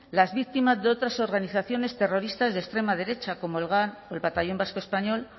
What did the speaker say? las víctimas de otras organizaciones terroristas de extrema derecha como el gal el batallón vasco español